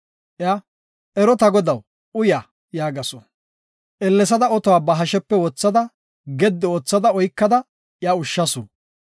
Iya, “Ero ta godaw, uya” yaagasu. Ellesada otuwa ba hashepe wothada, gedi ootha oykada iya ushshasu.